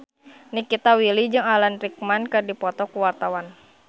Nikita Willy jeung Alan Rickman keur dipoto ku wartawan